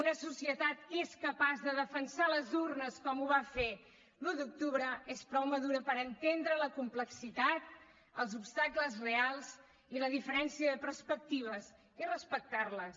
una societat que és capaç de defensar les urnes com ho va fer l’un d’octubre és prou madura per entendre la complexitat els obstacles reals i la diferència de perspectives i respectar les